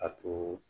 A to